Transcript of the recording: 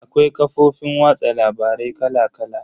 Akwai kafofin watsa labarai kala kala.